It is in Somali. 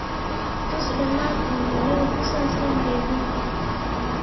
tus dhammaan iimaylada ku saabsan jebinta